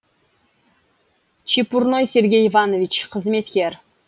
чепурной сергей иванович қызметкер